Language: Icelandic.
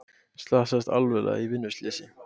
Slasaðist alvarlega í vinnuslysi